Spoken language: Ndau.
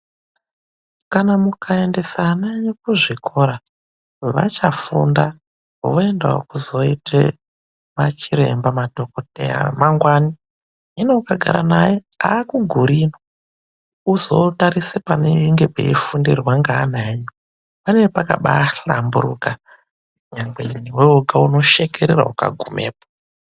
Kana mukaendesa vana kuzvikora vachafunda voenda wokuzoita vana chiremba madhokoteya amangwani ,hino ukagara naye haakugiriyo newe ukazotarisa panenge peifundirwa ngeana nyu panenge pakahlamburuka ukagumapo unoshekerera iukagumepo.